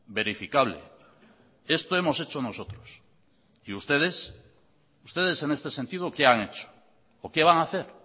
verificable esto hemos hecho nosotros y ustedes ustedes en este sentido qué han hecho o qué van a hacer